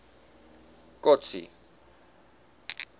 kotsi